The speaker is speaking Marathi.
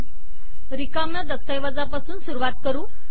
आपण रिकाम्या दस्तऐवजापासून सुरुवात करु